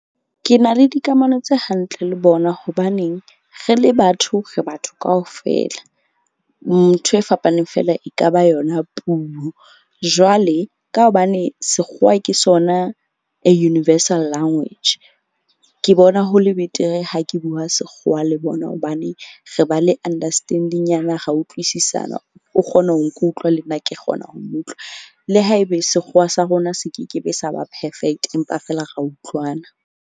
Ke na le dikamano tse hantle le bona. Hobaneng re le batho re batho kaofela. Ntho e fapaneng feela e ka ba yona puo, jwale ka hobane sekgowa ke sona a universal language. Ke bona ho le betere ha ke bua sekgowa le bona hobane re ba le understanding-nyana ra utlwisisana. O kgona ho nkutlwa le nna ke kgona ho mo utlwa. Le haebe sekgowa sa rona se ke ke be sa ba perfect, empa feela ra utlwana.